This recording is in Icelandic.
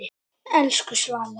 Elsku Svala.